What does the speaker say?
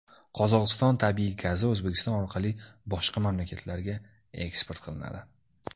Qozog‘iston tabiiy gazi O‘zbekiston orqali boshqa mamlakatlarga eksport qilinadi.